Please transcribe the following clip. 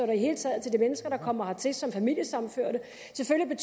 det hele taget til de mennesker der kommer hertil som familiesammenførte selvfølgelig